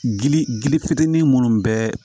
Gili gili fitinin munnu bɛɛ